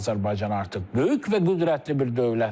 Azərbaycan artıq böyük və qüdrətli bir dövlətdir.